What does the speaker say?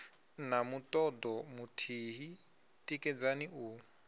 na mutodo muthihi tikedzani u